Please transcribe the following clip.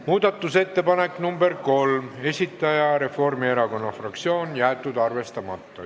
Muudatusettepaneku nr 3 esitaja on Reformierakonna fraktsioon, jäetud arvestamata.